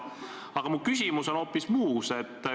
Aga mu küsimus on hoopis muus.